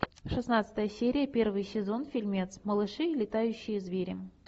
шестнадцатая серия первый сезон фильмец малыши и летающие звери